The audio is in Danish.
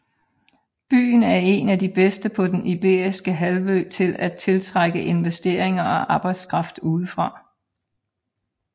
Byen er en af de bedste på den iberiske halvø til at tiltrække investeringer og arbejdskraft udefra